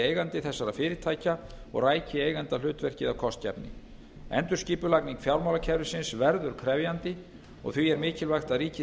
eigandi þessara fyrirtækja og ræki eigandahlutverkið af kostgæfni endurskipulagning fjármálakerfisins verður krefjandi og því er mikilvægt að ríkið